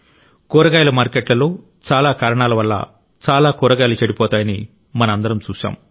కూరగాయల మార్కెట్లలో చాలా కారణాల వల్ల చాలా కూరగాయలు చెడిపోతాయని మనం అందరం చూశాం